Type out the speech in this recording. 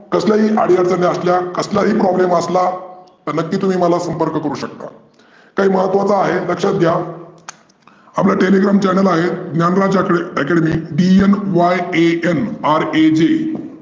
कसल्याही आडी अडचनी आसल्या कसला ही problem असला तर नक्की तुम्ही मला संपर्क करू शकता. काही महत्वाचं आहे लक्षात घ्या आपलं Telegram channel आहे. Dnyanraj academy D N Y A N R A J